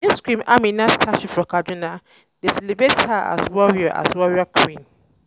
um Dis Queen Amina Statue for Kaduna dey celebrate her um as warrior um as warrior queen.